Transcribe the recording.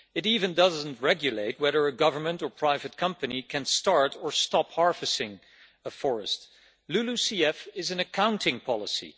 It does not even regulate whether a government or private company can start or stop harvesting a forest. LULUCF is an accounting policy.